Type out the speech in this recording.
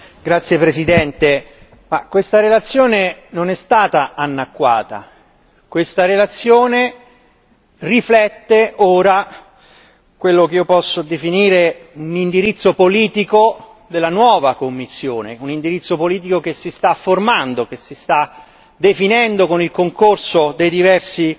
Signor Presidente, onorevoli colleghi, questa relazione non è stata annacquata, questa relazione riflette ora quello che io posso definire un indirizzo politico della nuova Commissione. Un indirizzo politico che si sta formando, che si sta definendo con il concorso dei diversi